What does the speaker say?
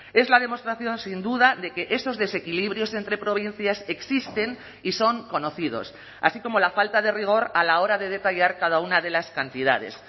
es la demostración sin duda de que esos desequilibrios entre provincias existen y son conocidos así como la falta de rigor a la hora de detallar cada una de las cantidades